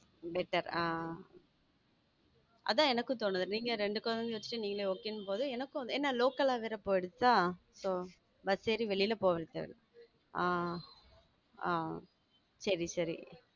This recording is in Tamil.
ஆஹ் அதான் எனக்கும் தோணுது. நீங்க ரெண்டு குழந்தையை வச்சு நீங்கலே okay ங்கும்போது எனக்கும் ஏனா local ல வேற போயிடுச்சா so bus ஏறி வெளியில போவ இருக்காது ஹம் ஹம் சரி சரி